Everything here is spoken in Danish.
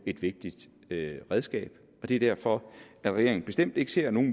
et vigtigt redskab det er derfor regeringen bestemt ikke ser nogen